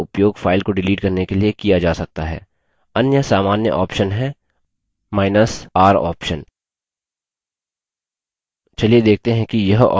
अन्य सामान्य option हैr option चलिए देखते हैं कि यह option कहाँ उपयोगी है